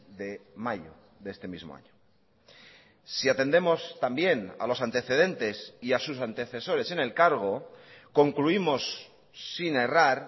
de mayo de este mismo año si atendemos también a los antecedentes y a sus antecesores en el cargo concluimos sin errar